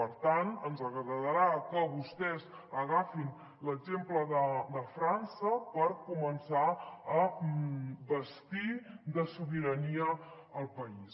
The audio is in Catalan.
per tant ens agradarà que vostès agafin l’exemple de frança per començar a bastir de sobirania el país